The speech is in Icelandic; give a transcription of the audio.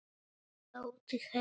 Er Tóti heima?